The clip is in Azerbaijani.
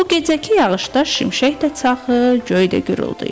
Bu gecəki yağışda şimşək də çaxır, göy də güruldur.